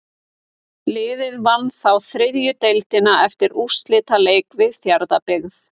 Liðið vann þá þriðju deildina eftir úrslitaleik við Fjarðabyggð.